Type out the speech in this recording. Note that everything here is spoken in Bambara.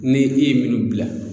Ni i ye minnu bila